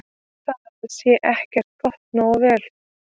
Það sé ekki gert nógu vel.